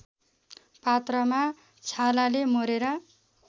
पात्रमा छालाले मोरेर